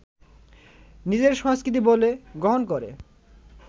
নিজের সংস্কৃতি বলে গ্রহণ করে